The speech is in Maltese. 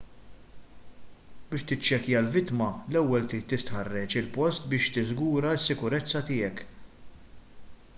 biex tiċċekkja l-vittma l-ewwel trid tistħarreġ il-post biex tiżgura s-sikurezza tiegħek